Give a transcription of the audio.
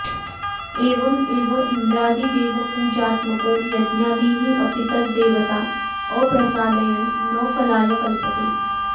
एवं एव इन्द्रादिदेवपूजात्मको यज्ञादिः अपि तत् देवता अप्रसादयन् न फलाय कल्पते